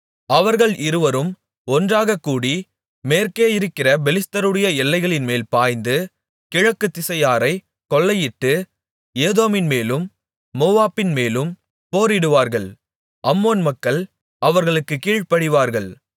அவர்கள் இருவரும் ஒன்றாகக்கூடி மேற்கேயிருக்கிற பெலிஸ்தருடைய எல்லைகளின்மேல் பாய்ந்து கிழக்குத்திசையாரைக் கொள்ளையிட்டு ஏதோமின்மேலும் மோவாபின்மேலும் போரிடுவார்கள் அம்மோன் மக்கள் அவர்களுக்குக் கீழ்ப்படிவார்கள்